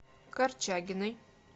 корчагиной